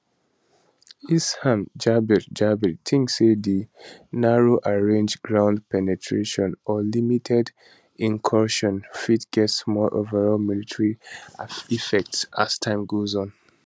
hisham jaber jaber tink say di narrowrange ground penetrations or limited incursions fit get small overall military effect as time go on